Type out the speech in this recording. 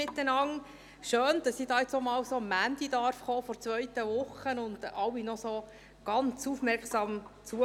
Schön, dass ich einmal am Montag der zweiten Woche hierherkommen kann und alle noch ganz aufmerksam zuhören.